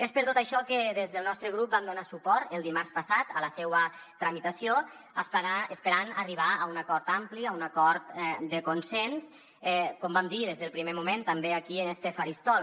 és per tot això que des del nostre grup vam donar suport el dimarts passat a la seua tramitació esperant arribar a un acord ampli a un acord de consens com vam dir des del primer moment també aquí en este faristol